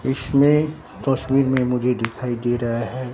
इसमें तस्वीर में मुझे दिखाई दे रहा है।